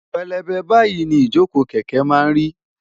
pélébé báyìí ni ìjókòó kẹ̀kẹ́ máa ń rí